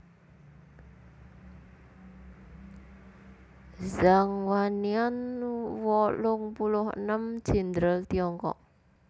Zhang Wannian wolung puluh enem Jèndral Tiongkok